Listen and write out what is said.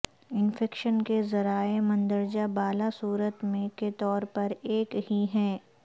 infection کے ذرائع مندرجہ بالا صورت میں کے طور پر ایک ہی ہیں